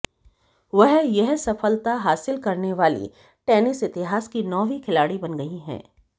वह यह सफलता हासिल करने वाली टेनिस इतिहास की नौवीं खिलाड़ी बन गई हैं